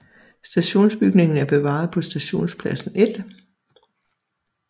Stationsbygningen er bevaret på Stationspladsen 1